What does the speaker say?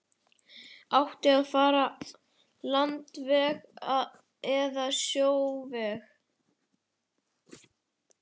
Átti að fara landveg eða sjóveg?